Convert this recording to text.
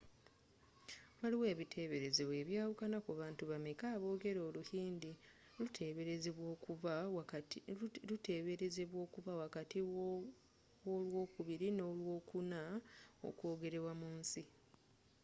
waliwo ebiteberezebwa ebyawukana ku bantu bameka aboogera oluhindi luteberezebwa okuba wakati w'olwokubiri n'olwokuna okwogerwa mu nsi